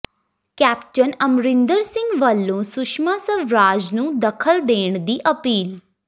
captain Amarinder Singh ਵਲੋਂ ਸੁਸ਼ਮਾ ਸਵਰਾਜ ਨੂੰ ਦਖ਼ਲ ਦੇਣ ਦੀ ਅਪੀਲ